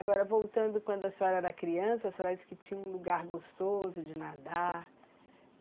Agora, voltando quando a senhora era criança, a senhora disse que tinha um lugar gostoso de nadar.